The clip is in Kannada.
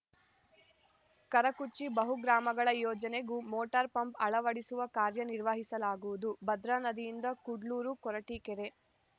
ಕರಕುಚ್ಚಿ ಬಹುಗ್ರಾಮಗಳ ಯೋಜನೆಗೂ ಮೋಟಾರ್‌ ಪಂಪ್‌ ಅಳವಡಿಸುವ ಕಾರ್ಯನಿರ್ವಹಿಸಲಾಗುವುದು ಭದ್ರಾ ನದಿಯಿಂದ ಕುಡ್ಲೂರು ಕೊರಟೀಕೆರೆ